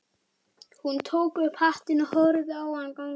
Hún tók upp hattinn og horfði á hann ganga burt.